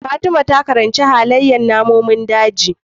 Fatima ta karanci halaiyar namun daji